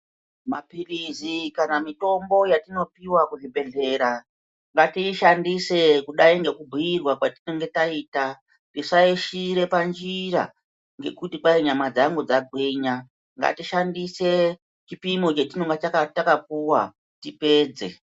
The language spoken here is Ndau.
Maphirizi kana mitombo yatinopiwa kuzvibhedhlera, ngatiishandise kudai ngekubhuyirwa kwatinenge taita, tisaishiira panjira ngekuti kwai nyama dzangu dzagwinya. Ngatishandise chipimo chetinenge takapuwa tipedze.